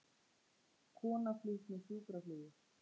Kona flutt með sjúkraflugi